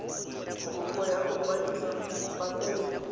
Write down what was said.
kopo ya go kwadisa patente